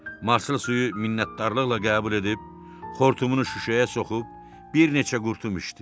Marslı suyu minnətdarlıqla qəbul edib xortumunu şüşəyə soxub bir neçə qurtum içdi.